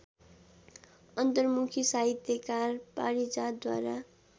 अन्तर्मुखी साहित्यकार पारिजातद्वारा